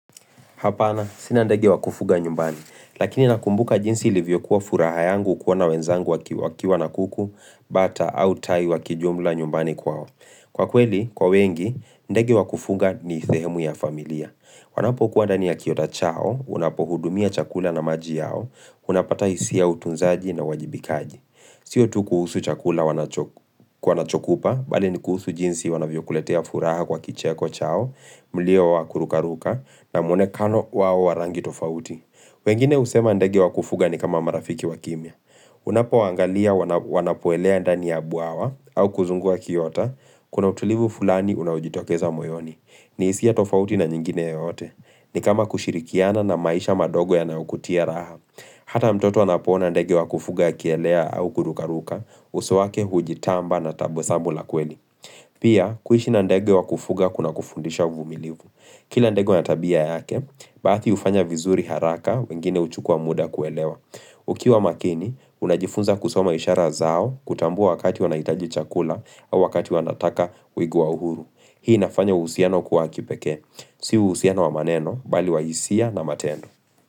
Hapana, sinandege wakufuga nyumbani, lakini nakumbuka jinsi ilivyo kuwa furaha yangu kuwa na wenzangu waki waki wana kuku, bata au tai wakijumla nyumbani kwao. Kwa kweli, kwa wengi, ndege wakufuga ni thehemu ya familia. Wanapokuwa dani ya kioda chao, unapo hudumia chakula na maji yao, unapatai hisiya utunzaji na wajibikaji. Siyo tu kuhusu chakula kwanachokupa, bali ni kuhusu jinsi wanavyo kuletea furaha kwa kicheko chao, mlio wa kurukaruka, na mwonekano wao warangi tofauti. Wengine husema ndege wa kufuga ni kama marafiki wa kimya. Unapo angalia wanapoelea ndani ya buawa au kuzungua kiota, kuna utulivu fulani unawijitokeza moyoni. Ni hisiya tofauti na nyingine yoyote. Ni kama kushirikiana na maisha madogo ya naukutia raha. Hata mtoto anapona ndege wa kufuga kielea au kurukaruka, uso wake hujitamba na tabwesamu la kweli. Pia, kuhishi na ndege wa kufuga kuna kufundisha uvumilivu. Kila ndege wanatabia yake, baati hufanya vizuri haraka wengine uchukua muda kuelewa. Ukiwa makini, unajifunza kusoma ishara zao kutambua wakati wanaitaji chakula au wakati wanataka uigua uhuru. Hii inafanya usiano kuwa kipeke. Sihu usiano wamaneno, bali waisia na matendo.